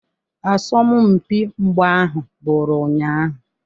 Asọmpi mgba ahụ bụrụ ụnyahụ.